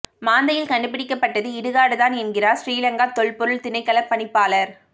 மாந்தையில் கண்டுபிடிக்கப்பட்டது இடுகாடு தான் என்கிறார் சிறிலங்கா தொல்பொருள் திணைக்களப் பணிப்பாளர்